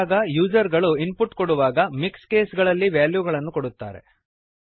ಆಗಾಗ ಯೂಸರ್ ಗಳು ಇನ್ಪುಟ್ ಕೊಡುವಾಗ ಮಿಕ್ಸ್ ಕೇಸ್ ಗಳಲ್ಲಿ ವ್ಯಾಲ್ಯೂ ಗಳನ್ನು ಕೊಡುತ್ತಾರೆ